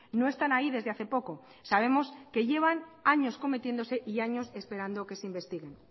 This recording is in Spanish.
no están ahí desde hace poco sabemos que llevan años cometiéndose y años esperando que se investiguen